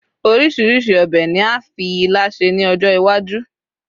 orísirísi obe ni a fi ila se ni ọjọ iwaju